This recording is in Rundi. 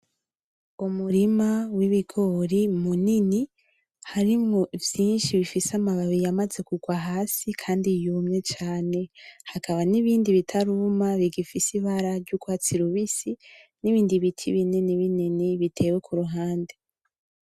Umurima wibigori munini, harimwo vyinshi bifise amababi yamaze kurwa hasi kandi yumye cane. Hakaba nibindi bitaruma bigifise ibara yurwatsi rubisi, nibindi biti binini binini bitewe kuruhande.